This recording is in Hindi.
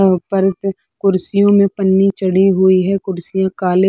ऊपर से कुर्सियों में पन्नी चढ़ी हुई है कुर्सियाँ काले --